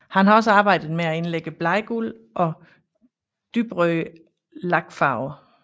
Han har også arbejdet med at indlægge bladguld og dybrøde lakfarver